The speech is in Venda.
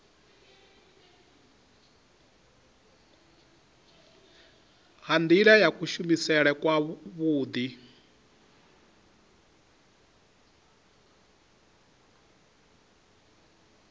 ha nila ya kuvhusele kwavhui